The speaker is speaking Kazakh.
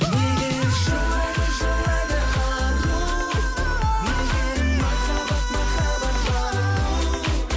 неге жылайды жылайды ару неге махаббат махаббат балу